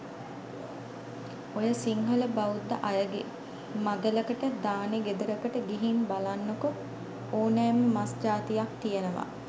ඔය සිංහල බෞද්ධ අයගේ මගලකට දානේ ගෙදරකට ගිහින් බලන්නකෝ ඕනෑම මස් ජාතියක් තියෙනවා.